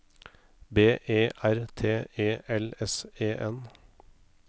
B E R T E L S E N